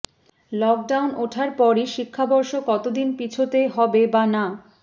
lockdown ওঠার পরই শিক্ষাবর্ষ কতদিন পিছোতে হবে বা না